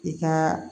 I ka